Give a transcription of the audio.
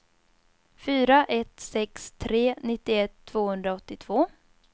fyra ett sex tre nittioett tvåhundraåttiotvå